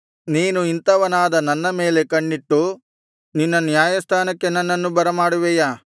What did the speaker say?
ನೀನು ಇಂಥವನಾದ ನನ್ನ ಮೇಲೆ ಕಣ್ಣಿಟ್ಟು ನಿನ್ನ ನ್ಯಾಯಸ್ಥಾನಕ್ಕೆ ನನ್ನನ್ನು ಬರಮಾಡುವಿಯಾ